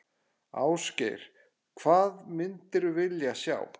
Ásgeir: Hvað myndir vilja sjá?